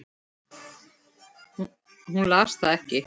Hún las það ekki.